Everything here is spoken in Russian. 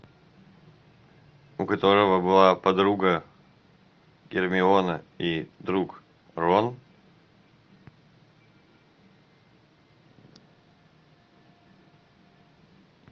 у которого была подруга гермиона и друг рон